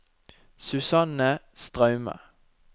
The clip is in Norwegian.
Susanne Straume